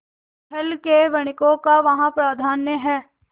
सिंहल के वणिकों का वहाँ प्राधान्य है